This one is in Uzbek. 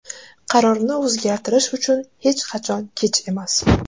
Qarorni o‘zgartirish uchun hech qachon kech emas”.